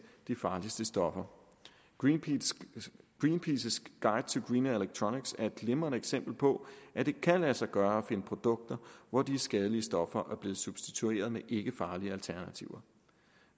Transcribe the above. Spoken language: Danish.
de farligste stoffer greenpeaces guide to greener electronics er et glimrende eksempel på at det kan lade sig gøre at finde produkter hvor de skadelige stoffer er blevet substitueret med ikkefarlige alternativer